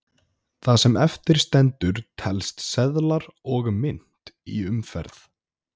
það sem eftir stendur telst seðlar og mynt í umferð